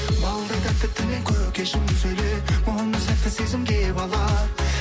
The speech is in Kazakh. балдай тәтті тілің көкешім сөйле мұндай сәтті сезімге бала